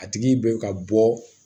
A tigi bɛ ka bɔ